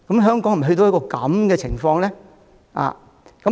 香港是否已經淪落呢？